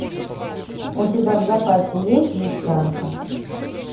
у тебя в запасе есть жестянка